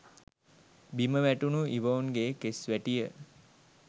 බිම වැටුණු ඉවෝන්ගේ කෙස් වැටිය